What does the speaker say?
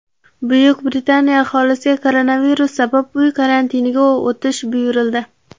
Buyuk Britaniya aholisiga koronavirus sabab uy karantiniga o‘tish buyurildi.